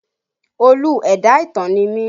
Olú ẹ̀dá ìtàn ni mí